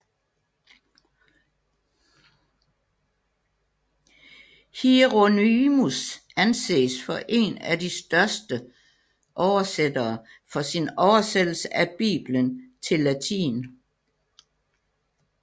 Hieronymus anses for en af de største oversættere for sin oversættelse af Bibelen til latin